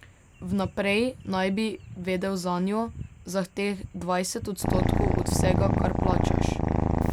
Vnaprej naj bi vedel zanjo, za teh dvajset odstotkov od vsega, kar plačaš.